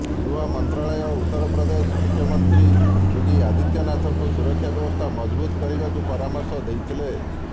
ଗୃହ ମନ୍ତ୍ରାଳୟ ଉତ୍ତର ପ୍ରଦେଶ ମୁଖ୍ୟମନ୍ତ୍ରୀ ଯୋଗୀ ଆଦିତ୍ୟନାଥଙ୍କୁ ସୁରକ୍ଷା ବ୍ୟବସ୍ଥା ମଜବୁତ କରିବାକୁ ପରାମର୍ଶ ଦେଇଥିଲେ